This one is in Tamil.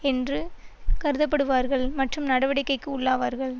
என்று கருதப்படுவார்கள் மற்றும் நடவடிக்கைக்கு உள்ளாவார்கள்